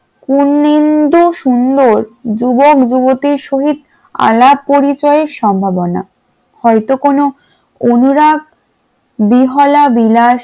কুন্নিদু সুন্দর যুবক যুবতী শহীদ আলাপ পরিচয়ে সম্ভাবনা হয়তো কোন অনুরাগ বিহলা বিলাস